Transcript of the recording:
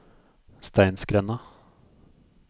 Steinsgrenda